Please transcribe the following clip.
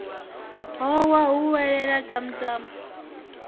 howa hu welelele tamu tamu